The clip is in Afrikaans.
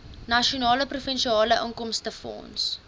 nasionale provinsiale inkomstefonds